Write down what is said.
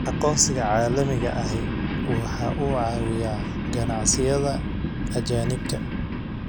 Aqoonsiga caalamiga ahi waxa uu caawiyaa ganacsiyada ajaanibka ah.